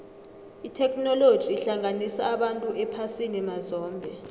itheknoloji ihlanganisa abantu ephasini mazombe